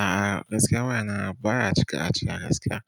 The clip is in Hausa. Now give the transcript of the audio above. A'a, gaskiya wayana baya cika cika gaskiya.